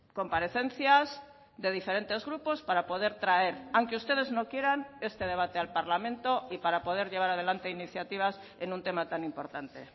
comparecencias de diferentes grupos para poder traer aunque ustedes no quieran este debate al parlamento y para poder llevar adelante iniciativas en un tema tan importante